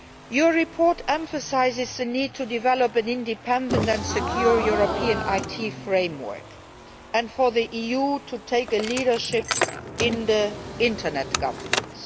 EU. Your report emphasises the need to develop an independent and secure European IT framework and for the EU to take the lead in Internet governance.